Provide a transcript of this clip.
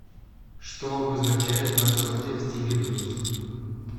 что обозначает рапсодия в стиле блюз